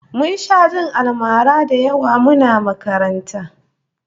Mun sha jin almara da yawa muna makaranta